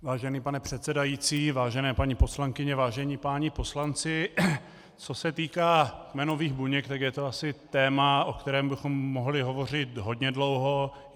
Vážený pane předsedající, vážené paní poslankyně, vážení páni poslanci, co se týká kmenových buněk, tak je to asi téma, o kterém bychom mohli hovořit hodně dlouho.